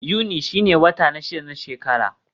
Yuni shine wata na shida na shekara.